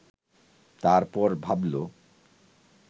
তারপর ভাবল